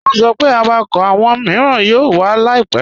Wọ́n sọ pé àwákọ́ awọn miiràn yóò wà láìpẹ̀.